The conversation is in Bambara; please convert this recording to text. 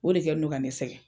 O de kɛ n'u do ka ne sɛgɛn.